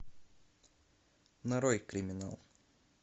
нарой криминал